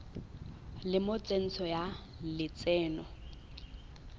le mo tsentsho ya lotseno